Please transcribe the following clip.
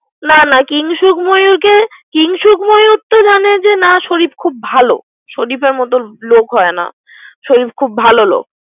না না কিংশুক ময়ুরকে। কিং শুক তো মানে না শরিফ খুব ভালো। শরিফের মত লোক হয় না। শরিফ খুব ভালো লোক।